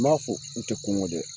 N m'a fɔ u tɛ kɔngɔ dɛ